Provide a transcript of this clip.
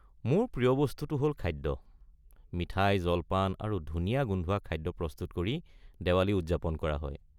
মোৰ প্ৰিয় বস্তুটো হ'ল খাদ্য। মিঠাই, জলপান আৰু ধুনীয়া গোন্ধোৱা খাদ্য প্ৰস্তুত কৰি দিৱালী উদযাপন কৰা হয়।